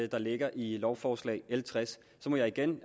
der ligger i lovforslag l tres så må jeg igen